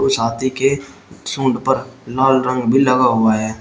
उस हाथी के सूंड पर लाल रंग भी लगा हुआ है।